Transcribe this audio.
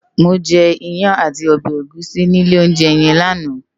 Mó je iyán àtí òbè égùsí ni ilé óunjè yèn làná